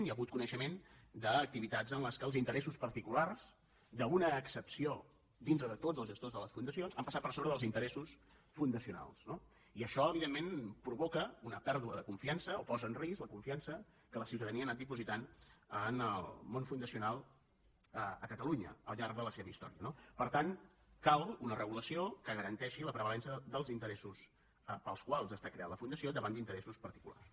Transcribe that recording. hi ha hagut coneixement d’activitats en les quals els interessos particulars d’una excepció dintre de tots els gestors de les fundacions han passat per sobre dels interessos fundacionals no i això evi·dentment provoca una pèrdua de confiança o posa en risc la confiança que la ciutadania ha anat dipositant en el món fundacional a catalunya al llarg de la seva història no per tant cal una regulació que garanteixi la prevalença dels interessos pels quals ha estat creada la fundació davant d’interessos particulars